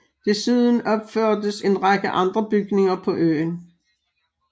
Desuden opførtes en række andre bygninger på øen